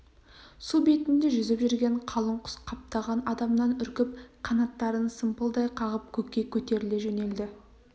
су бетінде жүзіп жүрген қалың құс қаптаған адамнан үркіп қанаттарын сымпылдай қағып көкке көтеріле жөнелді